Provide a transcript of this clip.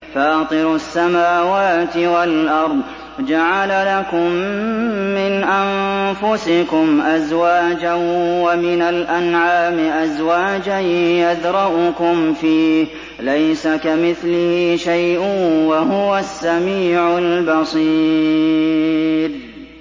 فَاطِرُ السَّمَاوَاتِ وَالْأَرْضِ ۚ جَعَلَ لَكُم مِّنْ أَنفُسِكُمْ أَزْوَاجًا وَمِنَ الْأَنْعَامِ أَزْوَاجًا ۖ يَذْرَؤُكُمْ فِيهِ ۚ لَيْسَ كَمِثْلِهِ شَيْءٌ ۖ وَهُوَ السَّمِيعُ الْبَصِيرُ